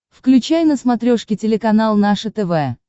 включай на смотрешке телеканал наше тв